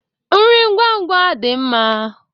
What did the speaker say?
Nri ngwa ngwa dị mma.